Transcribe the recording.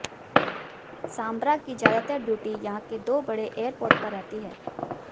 सांब्रा की ज्यादातर ड्यूटी यहां के दो बड़े एयरपोर्ट पर रहती हैं